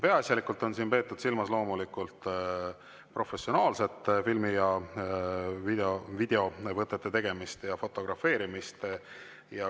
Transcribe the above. Peaasjalikult on siin loomulikult peetud silmas professionaalsete filmi‑ ja videovõtete tegemist ja fotografeerimist.